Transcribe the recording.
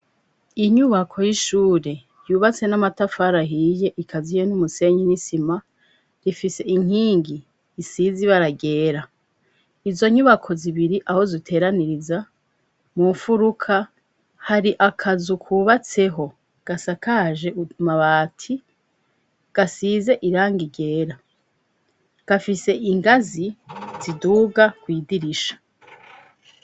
Inyubako y'ishure yubatse n'amatafarahiye ikaziye n'umusenyi nisima rifise inkingi isizibaragera izo nyubako zibiri aho zuteraniriza mumfuruka hari akazukubatseho gasa kaje umabati gasize ze iranga igera gafise ingazi ziduga kwyidirisha.